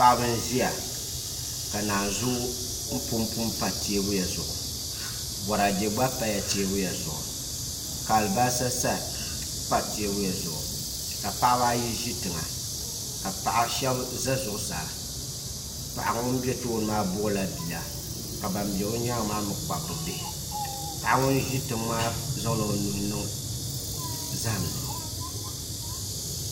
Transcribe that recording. Paɣaba n ʒiya ka naanzuu punpu n pa teebuya zuɣu Boraadɛ gba pala teebuya zuɣu ka alibarisa pa teebuya zuɣu ka paɣaba ayi ʒi tiŋa ka paɣa shab ʒɛ zuɣusaa paɣa ŋun bɛ tooni maa buɣula bia ka ban bɛ bi nyaangi maa mii kpabi bi bihi paɣa ŋun ʒi nyaanga maa zaŋla o nuhi n niŋ zaham ni